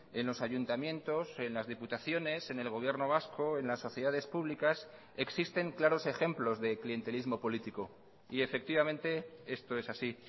en los ayuntamientos en las diputaciones en el gobierno vasco en las sociedades públicas existen claros ejemplos de clientelismo político y efectivamente esto es así